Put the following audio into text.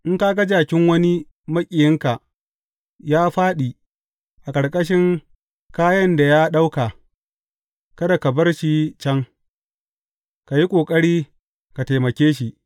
In ka ga jakin wani maƙiyinka ya fāɗi a ƙarƙashin kayan da ya ɗauka, kada ka bar shi can, ka yi ƙoƙari ka taimake shi.